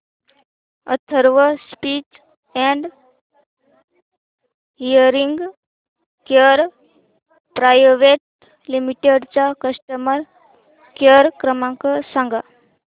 Atharva speech and hearing care private limited चा customer care क्रमांक सांगा